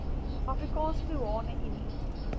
afrikaanse doeane unie